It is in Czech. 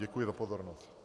Děkuji za pozornost.